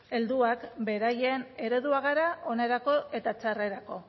helduak beraien ereduak gara onerako eta txarrerako